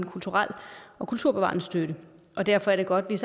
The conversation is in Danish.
kulturel og kulturbevarende støtte og derfor er det godt at